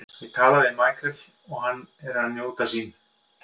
Ég tala mikið við Michael og hann er að njóta sín.